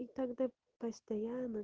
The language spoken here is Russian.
и тогда постонно